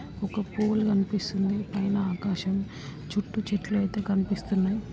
ఒక పోల్ కనిపిస్తుంది పైన ఆకాశం చుటూ చెట్టులు అయితే కనిపిస్తున్నాయి.